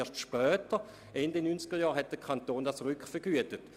Erst später, Ende der 1990er-Jahre, hat man diese Kosten stets rückvergütet.